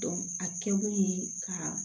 a kɛkun ye ka